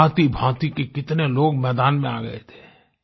भांतिभांति के कितने लोग मैदान में आ गये थे